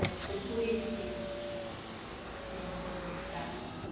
Acho que foi por isso que não foi para o lugar.